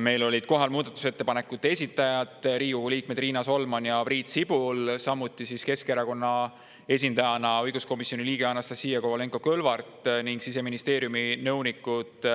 Meil olid kohal muudatusettepanekute esitajad, Riigikogu liikmed Riina Solman ja Priit Sibul, samuti Keskerakonna esindajana õiguskomisjoni liige Anastassia Kovalenko-Kõlvart ning Siseministeeriumi nõunikud